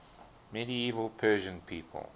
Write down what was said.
medieval persian people